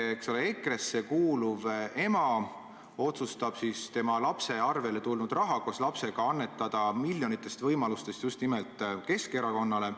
Eks ole, EKRE-sse kuuluv ema otsustab oma lapse kontole tulnud raha annetada miljonitest võimalustest just nimelt Keskerakonnale.